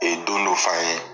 E don dɔ f'an ye